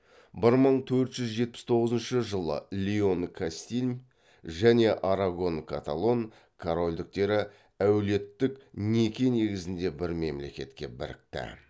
бір мың төрт жүз жетпіс тоғызыншы жылы леон кастиль және арагон каталон корольдіктері әулеттік неке негізінде бір мемлекетке бірікті